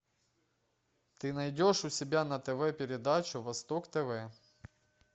ты найдешь у себя на тв передачу восток тв